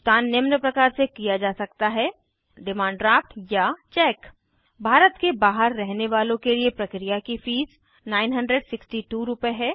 भुगतान निम्न प्रकार से किया जा सकता है डिमांड ड्राफ्ट चेक भारत के बहार रहने वालों के लिए प्रक्रिया की फीस 96200 रुपए है